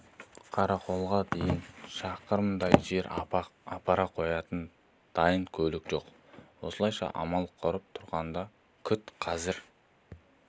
қарақолға дейін шақырымдай жер апара қоятын дайын көлік жоқ осылайша амал құрып тұрғанда күт қазір